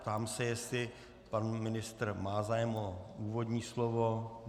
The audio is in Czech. Ptám se, jestli pan ministr má zájem o úvodní slovo.